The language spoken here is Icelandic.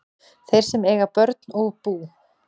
Þeir sem eiga börn og bú